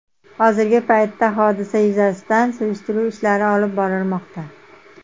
Hozirgi paytda hodisa yuzasidan surishtiruv ishlari olib borilmoqda.